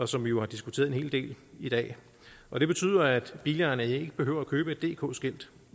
som vi jo har diskuteret en hel del i dag og det betyder at bilejerne ikke behøver at købe et dk skilt